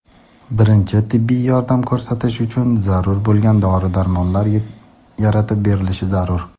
birinchi tibbiy yordam ko‘rsatish uchun zarur bo‘lgan dori-darmonlar) yaratib berilishi zarur.